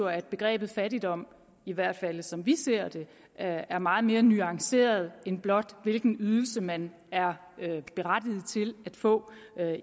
at begrebet fattigdom i hvert fald som vi ser det er meget mere nuanceret end blot hvilken ydelse man er berettiget til at få